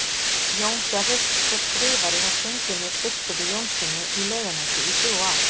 Jón gerðist svo skrifari hjá Steingrími biskupi Jónssyni í Laugarnesi í þrjú ár.